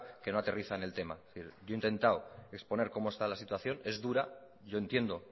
que no aterriza en el tema yo he intentado exponer cómo está la situación es dura yo entiendo